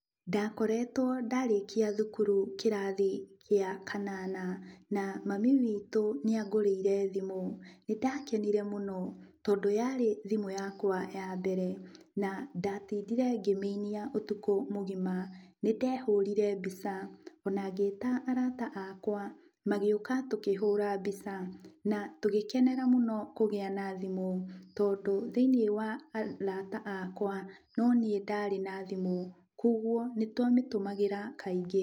Ndakoretwo ndarĩkia thukuru kĩrathi gĩa kanana. Na mami wĩtũ nĩ angũrĩire thimũ. Nĩndakenire mũno tondũ yarĩ thimũ yakwa yambere. Na ndatindire ngĩmĩinia ũtukũ mũgima. Nĩndehũrire mbica ona ngĩĩta arata akwa, magĩũka tũkĩhũũra mbica. Na tũgĩkenera mũno kũgĩa na thimũ tondũ thĩiniĩ wa arata akwa noniĩ ndarĩ na thimũ, kwogwo nĩtwamĩtũmagĩra kaingĩ.